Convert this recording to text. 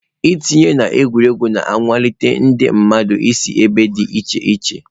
Ntinye na egwuregwu na-akwalite ndị mmadụ si ebe dị iche iche.